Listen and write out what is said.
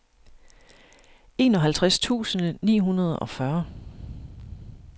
enoghalvtreds tusind ni hundrede og fyrre